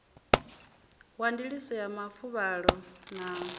wa ndiliso ya mafuvhalo na